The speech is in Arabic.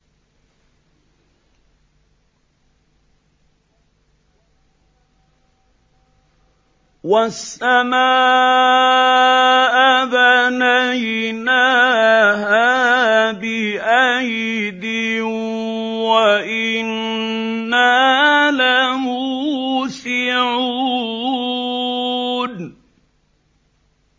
وَالسَّمَاءَ بَنَيْنَاهَا بِأَيْدٍ وَإِنَّا لَمُوسِعُونَ